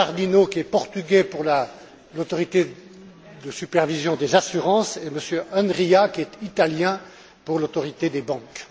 Bernardino, qui est Portugais, pour l'Autorité de supervision des assurances, et M. Enria, qui est Italien, pour l'Autorité des banques.